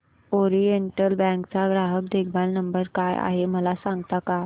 oriental Bank चा ग्राहक देखभाल नंबर काय आहे मला सांगता का